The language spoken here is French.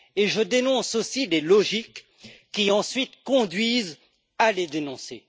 Je dénonce aussi des logiques qui, ensuite, conduisent à les dénoncer.